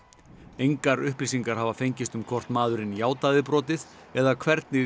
engar upplýsingar hafa fengist um hvort maðurinn játaði brotið eða hvernig